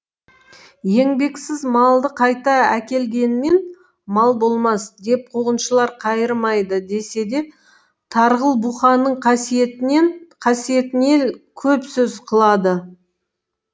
еңбексіз малды қайта әкелгенмен мал болмас деп қуғыншылар қайырмайды десе де тарғыл бұқаның қасиетінен көп сөз қылады